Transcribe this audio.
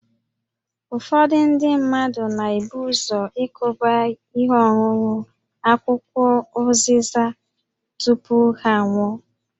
Ụfọdụ ndị mmadụ na-ebu ụzọ ikuba ihe ọṅụṅụ akwụkwọ ụzịza tupu ha aṅụọ